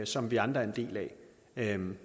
som vi andre er en